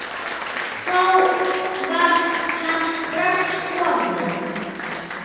Þá var hann strax kominn.